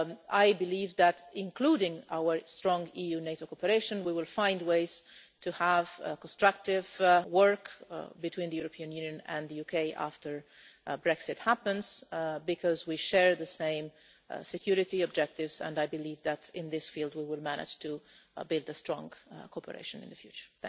I believe that, including our strong EU NATO cooperation, we will find ways to have constructive work between the European Union and the UK after Brexit happens, because we share the same security objectives, and I believe that in this field we will manage to build strong cooperation in the future.